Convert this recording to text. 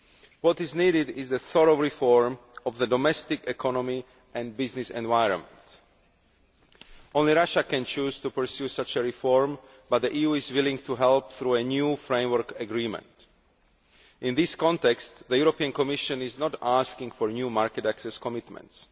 What is needed is a thorough reform of the domestic economy and business environment. Only Russia can choose to pursue such a reform, but the EU is willing to help through a new framework agreement. In this context, the European Commission is not asking for new market access commitments.